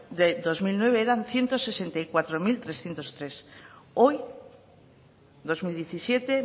de dos mil nueve eran ciento sesenta y cuatro mil trescientos tres hoy dos mil diecisiete